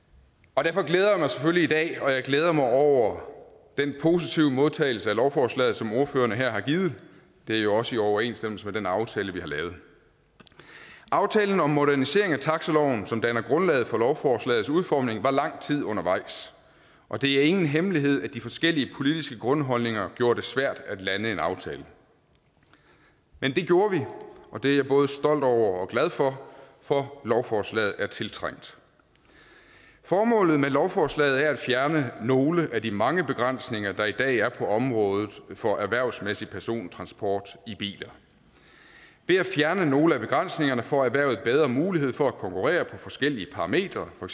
og derfor glæder jeg mig selvfølgelig i dag og jeg glæder mig over den positive modtagelse af lovforslaget som ordførerne her har givet det er jo også i overensstemmelse med den aftale vi har lavet aftalen om modernisering af taxiloven som danner grundlaget for lovforslagets udformning var lang tid undervejs og det er ingen hemmelighed at de forskellige politiske grundholdninger gjorde det svært at lande en aftale men det gjorde vi og det er jeg både stolt over og glad for for lovforslaget er tiltrængt formålet med lovforslaget er at fjerne nogle af de mange begrænsninger der i dag er på området for erhvervsmæssig persontransport i biler ved at fjerne nogle af begrænsningerne får erhvervet bedre mulighed for at konkurrere på forskellige parametre for